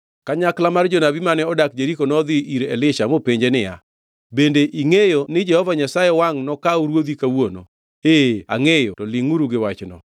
Kanyakla mar jonabi mane odak Jeriko nodhi ir Elisha mopenje niya, bende ingʼeyo ni Jehova Nyasaye wangʼ nokaw ruodhi kawuono? Ee angʼeyo, to lingʼuru gi wachno.